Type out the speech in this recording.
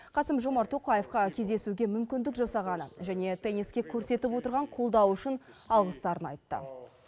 қасым жомарт тоқаевқа кездесуге мүмкіндік жасағаны және тенниске көрсетіп отырған қолдауы үшін алғыстарын айтты